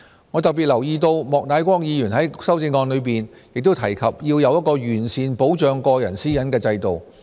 我特別留意到莫乃光議員在修正案中亦提及要有一個完善保障個人私隱的制度。